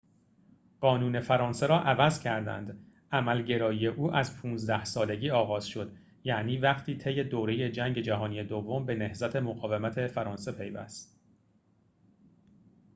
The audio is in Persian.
قانون فرانسه را عوض کردند عمل‌گرایی او از ۱۵ سالگی آغاز شد یعنی وقتی طی دوره جنگ جهانی دوم به نهضت مقاومت فرانسه پیوست